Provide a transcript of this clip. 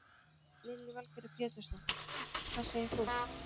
Lillý Valgerður Pétursdóttir: Hvað segir þú?